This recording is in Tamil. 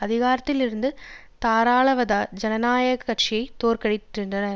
அதிகாரத்தில் இருந்த தாராளவத ஜனநாயக கட்சியை தோற்கடிக்கின்றன